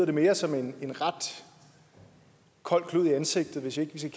det mere som en ret kold klud i ansigtet hvis ikke vi skal